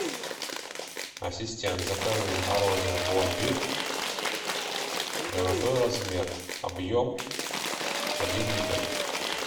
ассистент закажи мороженое пломбир золотой размер объем один литр